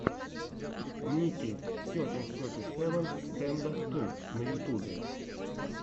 ники сетин сети севен стэндофф ту на ютюбе